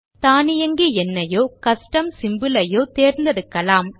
தானியங்கி எண்ணையோ custom symbol லையோ தேர்ந்தெடுக்கலாம்